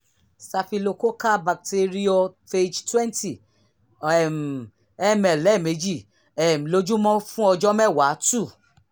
staphylococcal bacteriophage 20 um ml lẹ́ẹ̀mejì um lójúmọ́ fún ọjọ́ mẹ́wàá; 2